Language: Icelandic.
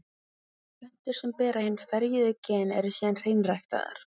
Plöntur sem bera hin ferjuðu gen eru síðan hreinræktaðar.